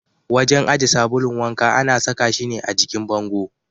Wajen aje sabulun wanka ana saka shi ne a jikin bango.